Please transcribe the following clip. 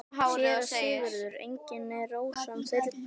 SÉRA SIGURÐUR: Engin er rós án þyrna.